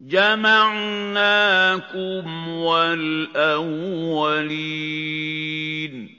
جَمَعْنَاكُمْ وَالْأَوَّلِينَ